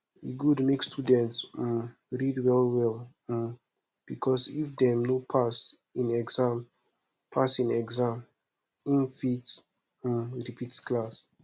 e good make student um read well well um because if dem no pass in exams pass in exams in fit um repeat class